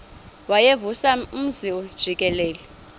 wayevusa umzi jikelele